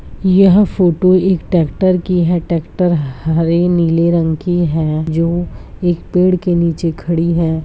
यह फोटो एक ट्रैक्टर की है ट्रैक्टर हरी नीली रंग की है जो एक पेड़ के नीचे खड़ी है।